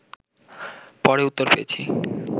পরে উত্তর পেয়েছি